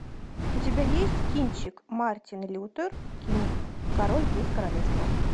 у тебя есть кинчик мартин лютер кинг король без королевства